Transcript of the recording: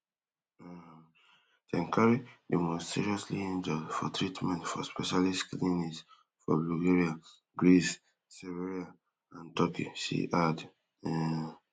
um den carri di most seriously injure for treatment for specialist clinics for bulgaria greece serbria and turkey she add um